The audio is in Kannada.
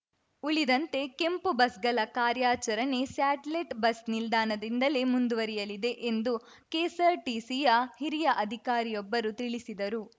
ಉಳಿದಂತೆ ಕೆಂಪು ಬಸ್‌ಗಳ ಕಾರ್ಯಾಚರಣೆ ಸ್ಯಾಟಲೆಟ್‌ ಬಸ್‌ ನಿಲ್ದಾಣದಿಂದಲೇ ಮುಂದುವರಿಯಲಿದೆ ಎಂದು ಕೆಎಸ್ಸಾರ್ಟಿಸಿಯ ಹಿರಿಯ ಅಧಿಕಾರಿಯೊಬ್ಬರು ತಿಳಿಸಿದರು